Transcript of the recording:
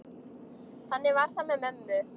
Þannig var það með mömmu.